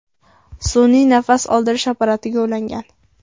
sun’iy nafas oldirish apparatiga ulangan.